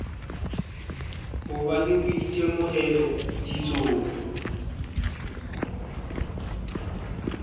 ho ba le boitemohelo ditsong